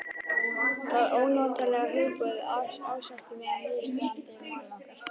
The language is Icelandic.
Það ónotalega hugboð ásótti mig að niðurstaðan í máli okkar